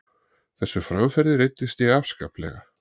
Þessu framferði reiddist ég afskaplega.